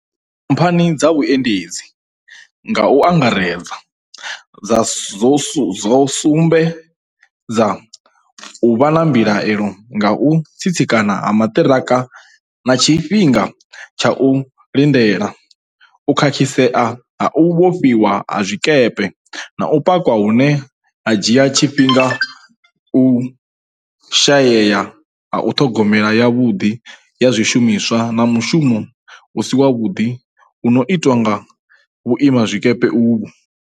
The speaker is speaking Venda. Khamphani dza vhuendedzi, nga u angaredza, dzo sumbe dza u vha na mbilaelo nga u tsitsikana ha maṱiraka na tshi fhinga tsha u lindela, u khakhi sea ha u vhofhiwa ha zwikepe na u pakwa hune ha dzhia tshi fhinga, u shayea ha ṱhogomelo yavhuḓi ya zwishumiswa na mushumo u si wavhuḓi u no itiwa nga vhuimazwikepe uvhu.